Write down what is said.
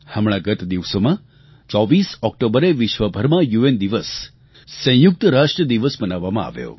હમણાં ગત દિવસોમાં 24 ઓક્ટોબરે વિશ્વભરમાં યુએન દિવસ સંયુક્ત રાષ્ટ્ર દિવસ મનાવવામાં આવ્યો